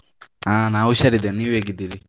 ಆ ನಾವು ಹುಷಾರ್ ಇದ್ದೇವೆ, ನೀವ್ ಹೇಗಿದ್ದೀರಿ?